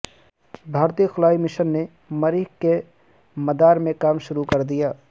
بھارتی خلائی مشن نے مریخ کے مدار میں کام شروع کر دیا